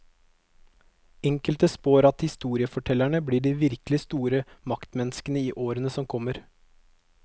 Enkelte spår at historiefortellerne blir de virkelig store maktmenneskene i årene som kommer.